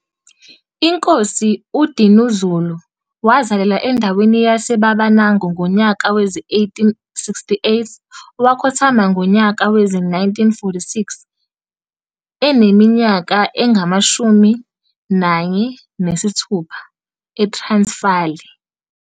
INkosi uDinuzulu wazalalelwa endaweni yase Babanango ngonyaka wezi 1868,wakhothama ngonyaka wezi 1946 eneminyaka engama 46, e Transfali.